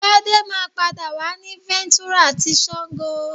Gbadé máa pàdé wa ni Ventura ti Sango